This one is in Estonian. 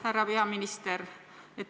Härra peaminister!